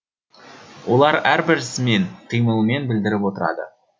олар әрбір ісімен қимылымен білдіріп отырады